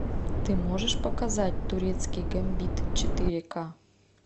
ты можешь показать турецкий гамбит четыре ка